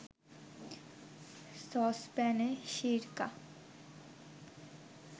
সসপ্যানে সিরকা